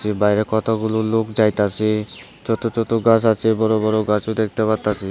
এর বাইরে কতগুলো লোক যাইতাসে ছোট ছোট গাছ আছে বড় বড় গাছও দেখতে পারতাসি।